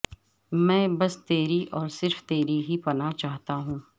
میں بس تیری اور صرف تیری ہی پناہ چاہتا ہوں